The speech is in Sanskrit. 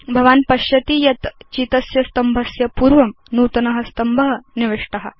भवान् पश्यति यत् चितस्य स्तम्भस्य पूर्वं नूतन स्तम्भ निविष्ट